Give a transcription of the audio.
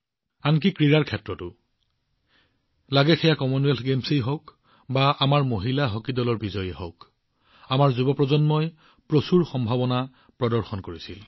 আনকি ক্ৰীড়াক্ষেত্ৰতো কমনৱেলথ গেমছেই হওক বা আমাৰ মহিলা হকী দলৰ বিজয়েই হওক আমাৰ যুৱপ্ৰজন্মই যথেষ্ট সম্ভাৱনা প্ৰদৰ্শন কৰিছে